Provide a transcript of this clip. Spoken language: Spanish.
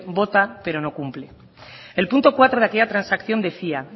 vota pero no cumple el punto cuatro de aquella transacción decía